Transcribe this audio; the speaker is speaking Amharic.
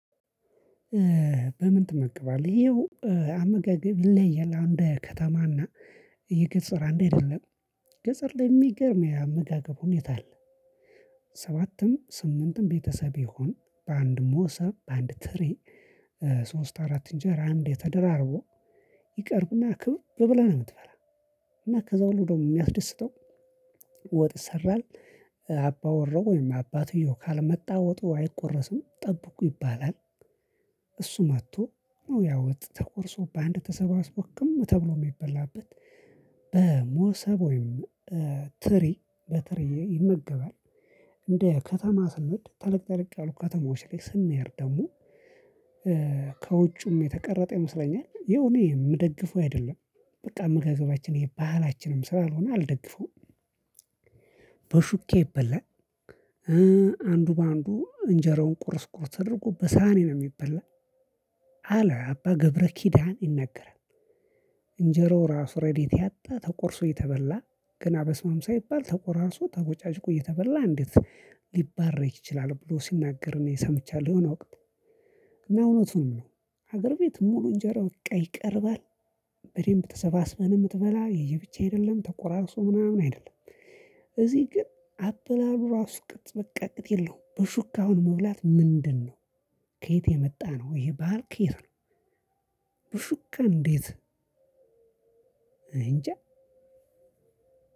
በምን? ትመገባለህ ይኸው አመጋገብ ይለያያል አሁን እንዴ ከተማና የገፀር አንድ አይደለም ገጸር ላይ የሚገርም የአመጋገብ ሁኔታ አለ። ሰባትም ስምንትም ቤተሰብ ይሁን በአንድ ሞሰብ በአንድ ትሪ። ሶስት አራት እንጀራ አንዴ ተደራርቦ ይቀርብና ክብብ ብለህ ነው የምትበላ። እና ከዛ በኋላ ደግሞ የሚያስደስተው ወጥ ይሰራል። አባ ወራው ወይም አባትየው ካልመጣ ወጡ አይቆረስም ጠብቁ ይባላል። እሱ መጥቶ ያወጥ ተቆርሶ በአንድ ተሰባስቦ ክም ተብሎ የሚበላበት። በሞሰብ ወይም ትሪ በትሪ ይመገባል። እንደ ከተማ ስንሄድ ተለቅ ተለቅ ያሉ ከተማዎች ላይ ስንሄድ ደግሞ ከውጩም የተቀረጠ ይመስለኛል ይኸው እኔ የምደግፈው አይደለም። በቃ አመገገባችን ይሄ ባህላችንም ስላልሆነ አልደግፈውም። በሹኬ ይበላል። አንዱ በአንዱ እንጀራውን ቁርስ ቁርስ ተደርጎ በሳህኔ ነው የሚበላ። አለ አባ ገብረ ኪዳን ይናገራል። እንጀራው እራሱ ረዴት ያጣ ተቆርሶ የተበላ ገና በስማም ሳይባል ተቆራርሶ ተቦጫጭቆ እየተበላ እንዴት? ሊባረክ ይቺላል ብሎ ሲናገር ሰምቻለሁ። እና እውነቱን ነው ሀገር ቤት ሙሉ እንጀራው ይቀርባል። በደንብ ተሰባስበህ ነው የምትበላ የየብቻ አይደለም ተቆራርሶ ምናምን አይደለም። እዚህ ግን አበላሉ ራሱ ቅጥ በቃ ቅጥ የለውም። በሹካ አሁን መብላት ምንድነው? ከየት የመጣ ነው። ይሄ ባህል ከየት ነው? በሹካ እንዴት? እኔ እንጃ።